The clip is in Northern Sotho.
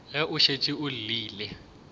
be go šetše go llile